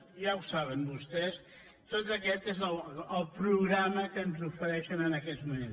ja ho saben vostès tot aquest és el programa que ens ofereixen en aquests moments